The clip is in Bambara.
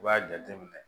I b'a jateminɛ